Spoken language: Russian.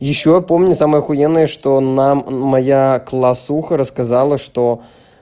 ещё помню самое ахуенное что нам моя классуха рассказала что